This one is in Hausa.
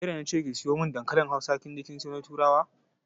Ke da na ce ki siyo mun dankalin Hausa kin je kin sayo na turawa.